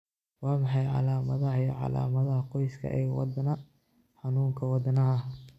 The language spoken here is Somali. Waa maxay calamadaha iyo calamadaha qoyska ee wadna xanuunka wadnaha